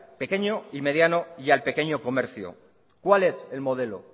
pequeño y mediano y al pequeño comercio cuál es el modelo